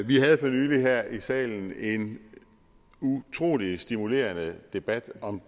vi havde for nylig her i salen en utrolig stimulerende debat om